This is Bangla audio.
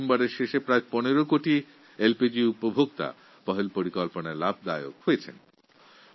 নভেম্বরের শেষ অবধি প্রায় ১৫ কোটি এলপিজি ব্যবহারকারী পহল যোজনার মাধ্যমে উপকৃত হয়েছেন